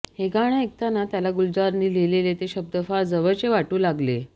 हे गाणं ऐकताना त्याला गुलजारनी लिहिलेले ते शब्द फार जवळचे वाटू लागले